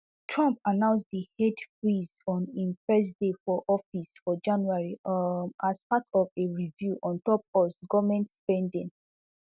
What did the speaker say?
trump announce di aid freeze on im first day for office for january um as part of a review on top us goment spending